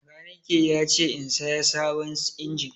Makaniki ya ce in saya sabon injin.